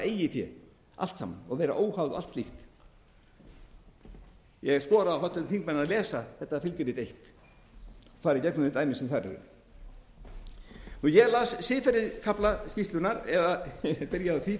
fé allt saman og vera óháð og allt slíkt ég skora á háttvirtu þingmenn að lesa þetta fylgirit eins og fara í gegnum þau dæmi sem þar eru ég las siðferðiskafla skýrslunnar eða byrjaði á því frú